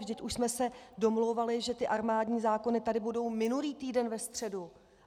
Vždyť už jsme se domlouvali, že ty armádní zákony tady budou minulý týden ve středu.